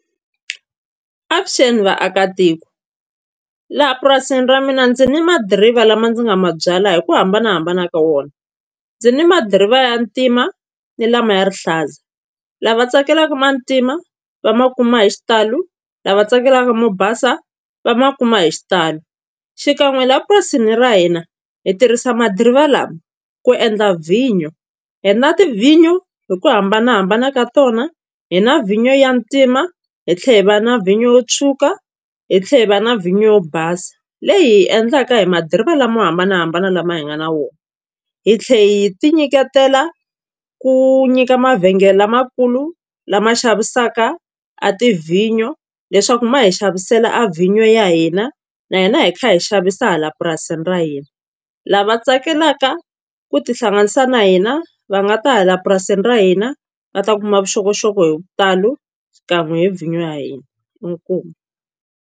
Avuxeni vaakatiko laha purasini ra mina ndzi ni madirivha lama ndzi nga ma byala hi ku hambanahambana ka wona ndzi ni madirivha ya ntima ni lama ya rihlaza lava tsakelaka ma ntima va ma kuma hi xitalo lava tsakelaka mo basa va ma kuma hi xitalo xikan'we laha purasini ra hina hi tirhisa madirivha lama ku endla vhinyo hi na tivhinyo hi ku hambanahambana ka tona hi na vhinyo ya ntima hi tlhela hi va na vhinyo yo tshuka hi tlhela hi va na vhinyo basa leyi hi yi endlaka hi madirivha lama hambanahambana lama hi nga na wona hi tlhela hi ti nyiketela ku nyika mavhengele lamakulu lama xavisaka a tivhinyo leswaku ma hi xavisela a vhinyo ya hina na hina hi kha hi xavisa laha purasini ra hina lava tsakelaka ku tihlanganisa na hina va nga ta hala purasini ra hina va ta kuma vuxokoxoko hi vutalo xikan'we hi vhinyo ya hina, inkomu.